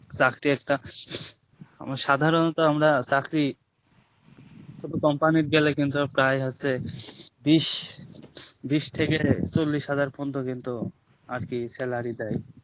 চাকরি একটা আমরা সাধারনত আমরা চাকরি কোনো company গেলে প্রায় হচ্ছে বিষ বিষ থেকে চল্লিশ পর্যন্ত কিন্তু আর কি salary দেয়